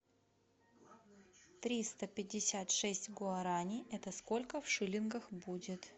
триста пятьдесят шесть гуарани это сколько в шиллингах будет